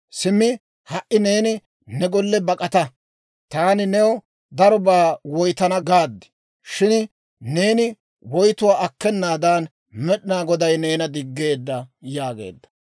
Simmi ha"i neeni ne golle bak'ata; ‹Taani new darobaa woytana› gaad; shin neeni woytuwaa akkenaadan Med'inaa Goday neena diggeedda» yaageedda.